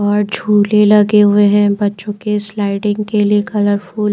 और झूले लगे हुए है बच्चों के स्लाइडिंग के लिए कलरफुल ।